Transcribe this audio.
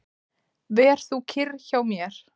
Ver þú kyrr hjá mér.